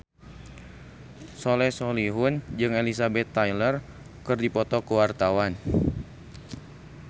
Soleh Solihun jeung Elizabeth Taylor keur dipoto ku wartawan